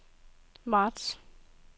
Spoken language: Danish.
marts